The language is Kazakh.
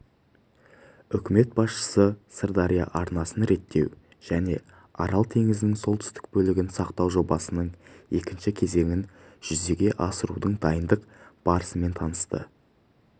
үкімет басшысы сырдария арнасын реттеу және арал теңізінің солтүстік бөлігін сақтау жобасының екінші кезеңін жүзеге асырудың дайындық барысымен танысты